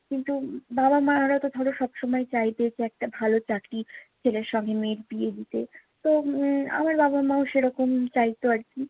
কিন্তু বাবা-মা এরা তো ধরো সবসময় চাইবে যে, একটা ভালো চাকরি ছেলের সঙ্গে মেয়ের বিয়ে দিতে। তো উম আমার বাবা-মাও সেরকম চাইতো আরকি।